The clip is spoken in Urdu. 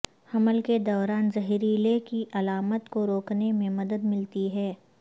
حمل کے دوران زہریلا کی علامات کو روکنے میں مدد ملتی ہے